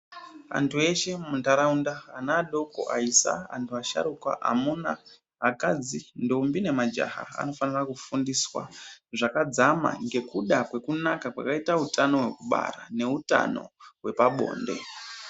Antu eshe mundaraunda ana adoko, aisa, akadzi, ntombi nemajaya anofanira kufundiswa zvakadzama ngekuda kwakanaka kwakaita utano hwekubara neutano hwepabonde.